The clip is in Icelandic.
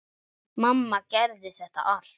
Mamma gerði þetta allt.